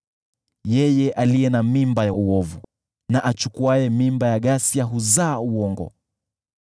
Yeye aliye na mimba ya uovu na achukuaye mimba ya ghasia huzaa uongo.